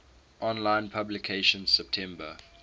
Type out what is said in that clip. online publication september